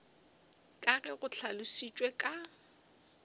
ka ge go hlalošitšwe ka